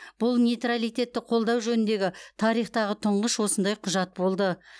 бұл нейтралитетті қолдау жөніндегі тарихтағы тұңғыш осындай құжат болды